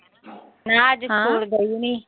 ਨਾ ਅੱਜ ਸਕੂਲ ਗਈ ਨੀਂ।